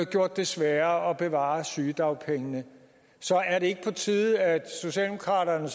gjort det sværere at bevare sygedagpengene så er det ikke på tide at socialdemokraterne